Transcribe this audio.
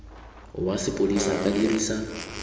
wa sepodisi a ka dirisa